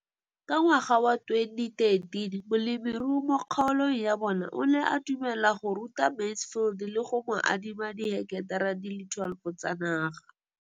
Ka ngwaga wa 2013, molemirui mo kgaolong ya bona o ne a dumela go ruta Mansfield le go mo adima di heketara di le 12 tsa naga.